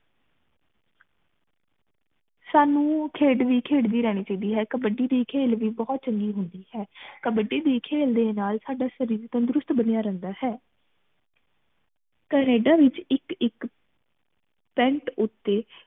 ਸਾਨੂ ਖੇਡ ਵੀ ਖੇਡਣੀ ਰਹਿਣੀ ਚਾਹੀਦੀ ਹੈ ਕਬੱਡੀ ਦੀ ਖੇਲ ਵੀ ਬਹੁਤ ਚੰਗੀ ਹੁੰਦੀ ਹੈ ਕਬੱਡੀ ਦੀ ਖੇਲ ਦੇ ਨਾਲ ਸਾਡਾ ਸ਼ਰੀਰ ਤੰਦਰੁਸਤ ਬਣਿਆ ਰਹਿੰਦਾ ਹੈ ਕੈਨੇਡਾ ਵਿਚ ਇਕ ਇਕ ਉਤੇ